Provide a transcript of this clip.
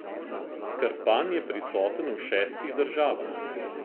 Krpan je prisoten v šestih državah.